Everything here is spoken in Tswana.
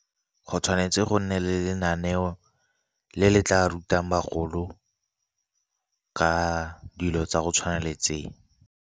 Go tshwanetse go nne le lenaneo le le tla rutang bagolo, ka dilo tsa go tshwana le tse.